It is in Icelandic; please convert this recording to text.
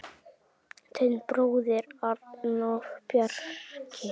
Þinn bróðir, Arnór Bjarki.